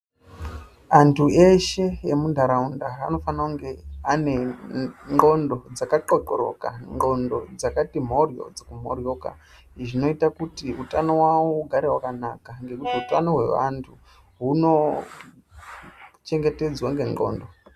Antu eshe emuntaraunda anofana kunge ane ndxondo dzakaxoxoroka, ndxondo dzakati mhoryo kumhoryoka. Izvi zvinoita kuti utano hwavo ugare hwakanaka ngekuti utano hwevantu hunochengetedzwa ngendxondo.